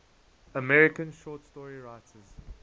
american short story writers